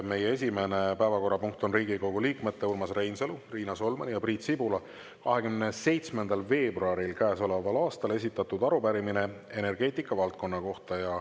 Meie esimene päevakorrapunkt on Riigikogu liikmete Urmas Reinsalu, Riina Solmani ja Priit Sibula 27. veebruaril käesoleval aastal esitatud arupärimine energeetikavaldkonna kohta.